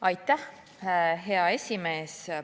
Aitäh, hea esimees!